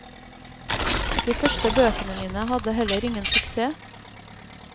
De første bøkene mine hadde heller ingen suksess.